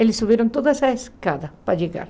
Eles subiram todas as escadas para chegar.